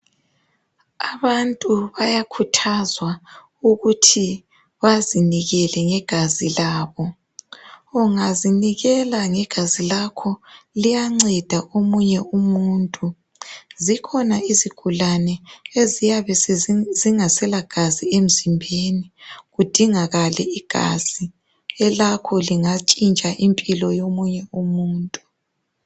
Abantu bayakhuthazwa ukuthi bazinikele ngegazi labo. Ungazinikela ngegazi lakho, liyanceda omunye umuntu. Zikhona izigulane, eziyabe zingaselagazi. emzimbeni. Kudingakale igazi. Elakho lingatshintsha impilo yomunye umuntu.